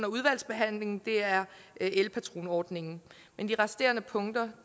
udvalgsbehandlingen er elpatronordningen men de resterende punkter